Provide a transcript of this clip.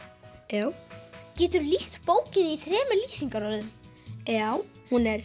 já geturðu lýst bókinni í þremur lýsingarorðum já hún er